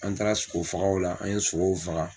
An taara sogo fagaw la, an ye sogow faga.